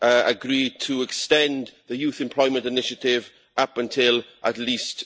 now agreed to extend the Youth Employment Initiative up until at least